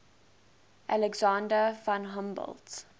alexander von humboldt